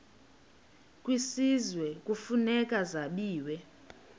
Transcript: kwisizwe kufuneka zabiwe